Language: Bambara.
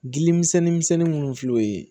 Gili misɛnni misɛnni munnu filɛ o ye